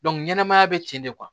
ɲɛnamaya bɛ ten de kuwa